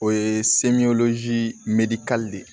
O ye de ye